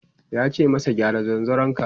yace masa "gyara zanzaron ka!"